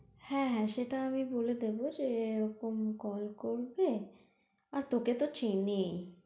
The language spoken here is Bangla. হ্যাঁ হ্যাঁ সেটা আমি বলে দেবো যে এরকম call করবে আর তোকে তো চেনেই।